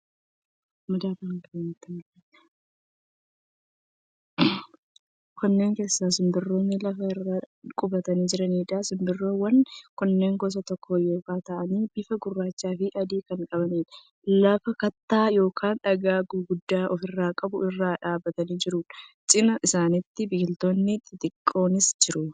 Kunneen gosa simbirroowwanii lafa irra qubatanii jiraniidha. Simbirroowwan kunneen gosa tokko yoo ta'an bifa gurraachaa fi adii kan qabaniidha. Lafa kattaa yookiin dhagaa guguddaa ofirraa qabu irra qubatanii jiru. Cina isaaniitiin biqiltoonni xixiqqoonis jiru.